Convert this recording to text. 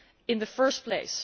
in the first place?